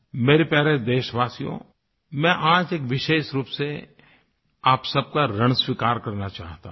मेरे प्यारे देशवासियो मैं आज एक विशेष रूप से आप सब का ऋण स्वीकार करना चाहता हूँ